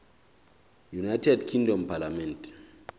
united kingdom parliament